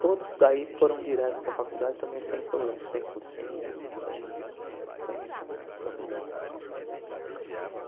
Todos daí foram direto para a faculdade também sem problema, sem cursinho, sem na sem problema algum.